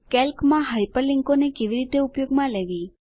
કેલ્કમાં હાયપરલીંકોને કેવી રીતે ઉપયોગમાં લેવી